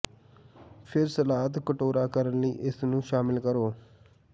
ਫਿਰ ਸਲਾਦ ਕਟੋਰਾ ਕਰਨ ਲਈ ਇਸ ਨੂੰ ਸ਼ਾਮਿਲ ਕਰੋ